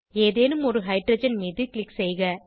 ஏதேனும் ஒரு ஹைட்ரஜன் மீது க்ளிக் செய்க